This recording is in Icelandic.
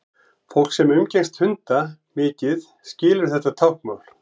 fólk sem umgengst hunda mikið skilur þetta táknmál